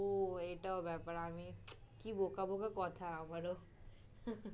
ও এটাও ব্যাপার আমি কি বোকা বোকা কথা আমারও।